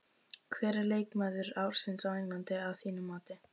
Hver er leikmaður ársins á Englandi að þínu mati?